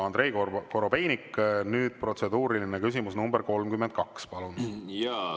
Andrei Korobeinik, protseduuriline küsimus nr 32, palun!